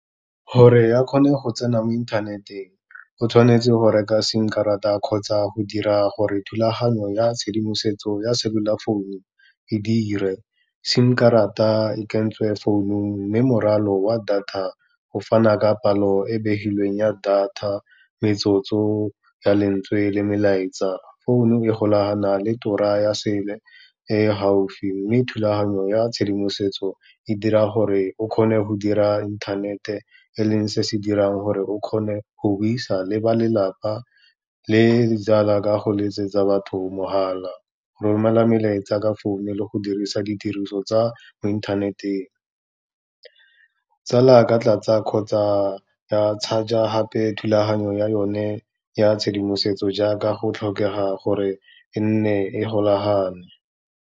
Gore a kgone go tsena mo inthaneteng, o tshwanetse go reka sim karata kgotsa go dira gore thulaganyo ya tshedimosetso ya cellular founu e dire, sim karata e kentswe founung, mme morwalo wa data, go fana ka palo e begilweng ya data, metsotso ya lentswe le melaetsa. Founu e golagana le tura ya sele e gaufi, mme thulaganyo ya tshedimosetso e dira gore o kgone go dira inthanete, e leng se se dirang gore o kgone go buisa le ba lelapa le jaaka go letsetsa batho mogala, go romela melaetsa ka founu le go dirisa ditiriso tsa mo inthaneteng. Tsala a ka tlatsa kgotsa ya charge-a gape thulaganyo ya yone ya tshedimosetso, jaaka go tlhokega gore e nne e golagane.